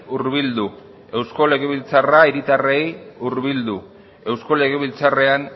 hurbildu eusko legebiltzarra herritarrei hurbildu eusko legebiltzarrean